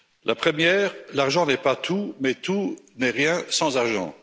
La première L'argent n'est pas tout, mais tout n'est rien sans argent.